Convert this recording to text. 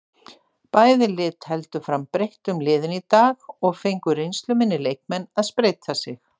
Bæði lið tefldu fram breyttum liðum í dag og fengu reynsluminni leikmenn að spreyta sig.